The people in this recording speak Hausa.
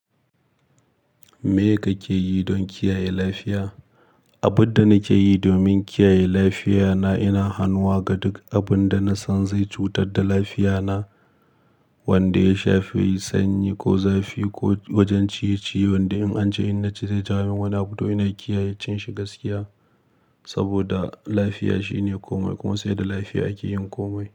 Me kake yi don kiyaye lafiya? Abin da nake yi domin kiyaye lafiya na, ina hanuwa ga duk abin da na san zai cutar da lafiya na, wanda ya shafi sanyi ko zafi ko wajen ciye-ciye wanda in an ci in naci zai jawo min wani abu to ina kiyaye cin shi gaskiya. Saboda lafiya shine komai kuma sai da lafiya ake yin komai.